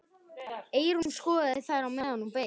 Eyrún skoðaði þær meðan hún beið.